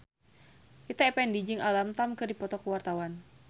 Rita Effendy jeung Alam Tam keur dipoto ku wartawan